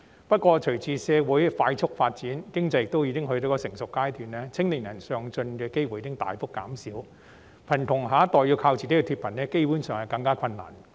不過，隨着社會快速發展，經濟亦到了成熟階段，青年人上進的機會已大幅減少，故此貧窮下一代要靠自己脫貧基本上更為困難。